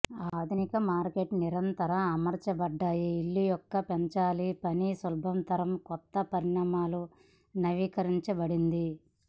ఆధునిక మార్కెట్ నిరంతరం అమర్చబడ్డాయి ఇళ్ళు యొక్క పెంచాలి పని సులభతరం కొత్త పరిణామాలు నవీకరించబడింది